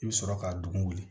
I bɛ sɔrɔ ka dugun wugu